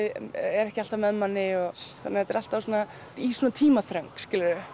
ekki alltaf með manni þetta er alltaf í tímaþröng